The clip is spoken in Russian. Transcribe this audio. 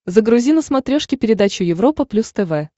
загрузи на смотрешке передачу европа плюс тв